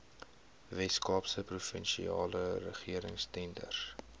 weskaapse provinsiale regeringstenders